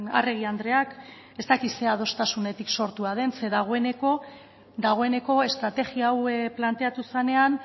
arregi andreak ez dakit zer adostasunetik sortua den zeren dagoeneko estrategia hau planteatu zenean